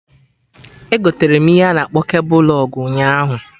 Egoterem ihe a na akpọ kebul lụg ụnyaahụ